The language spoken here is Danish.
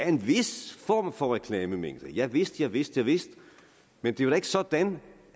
en vis form for reklamemængde javist javist javist men det er da ikke sådan